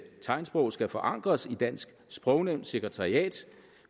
tegnsprog skal forankres i dansk sprognævns sekretariat